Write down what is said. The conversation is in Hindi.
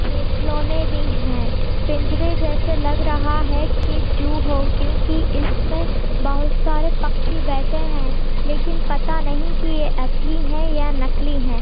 खेल-खिलौने भी हैं पिंजरे जेसे भी लग रहा हैं कि जू हो क्योंकि इसमें बहुत सारे पक्षी बैठे हैं लेकिन पता नहीं कि यह असली है या नकली है।